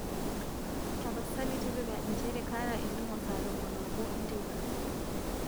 taapasali tipika inchere kaata entumo saa tomon oobo e nteipa